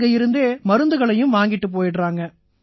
அங்கயிருந்தே மருந்துகளையும் வாங்கிட்டுப் போயிடறாங்க